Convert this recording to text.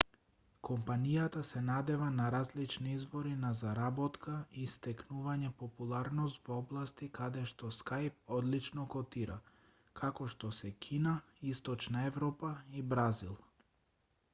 компанијата се надева на различни извори на заработка и стекнување популарност во области каде што skype одлично котира како што се кина источна европа и бразил